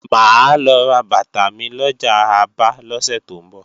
Mà á lọ ra bàtà mi lọjà Aba lọ́sẹ̀ tó ń bọ̀